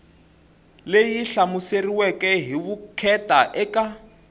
leyi hlamuseriweke hi vukheta eka